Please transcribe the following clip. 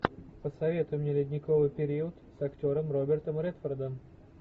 посоветуй мне ледниковый период с актером робертом редфордом